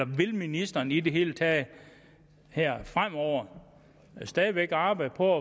vil ministeren i det hele taget fremover stadig væk arbejde på